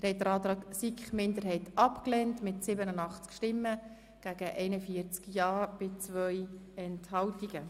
Der Grosse Rat hat den Antrag der SiKMinderheit abgelehnt.